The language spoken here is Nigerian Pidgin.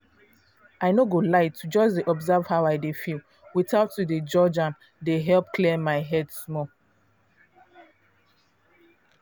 i no go lie to just dey observe how i dey feel without to dey judge am dey help clear my head small